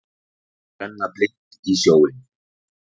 Að renna blint í sjóinn